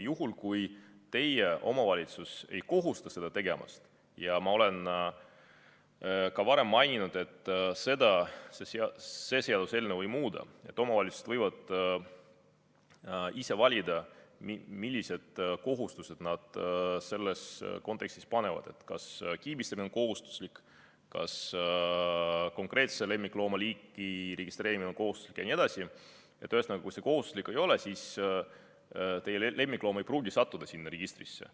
Juhul kui teie omavalitsus ei kohusta seda tegema – ja ma olen ka varem maininud, et seda see seaduseelnõu ei muuda, omavalitsused võivad ise valida, millised kohustused nad selles kontekstis panevad, kas kiibistamine on kohustuslik, kas konkreetse lemmikloomaliigi registreerimine on kohustuslik jne –, siis teie lemmikloom ei pruugi sattuda sinna registrisse.